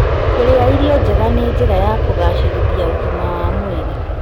Kũrĩa irio njega nĩ njĩra ya kũgacĩrithia ũgima wa mwĩrĩ.